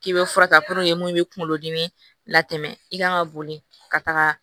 K'i bɛ fura ta mun bɛ kunkolo dimi latɛmɛ i kan ka boli ka taga